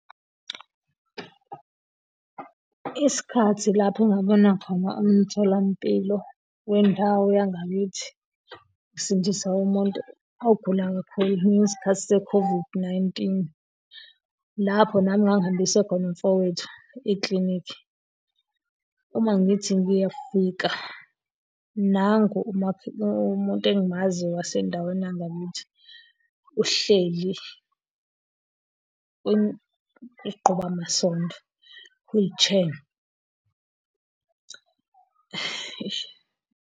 Isikhathi lapho engabona khona umtholampilo wendawo yangakithi usindisa umuntu ogula kakhulu, ingesikhathi se-COVID-19. Lapho nami ngangihambise khona umfowethu ekilinikhi. Uma ngithi ngiyafika, nangu umuntu engimaziyo wasendaweni yangakithi, uhleli uqhuba amasondo, wheelchair, eish.